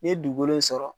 N ye dugukolo sɔrɔ